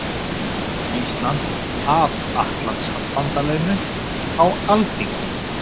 Íslands að Atlantshafsbandalaginu á Alþingi.